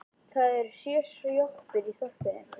Það eru sjö sjoppur í þorpinu!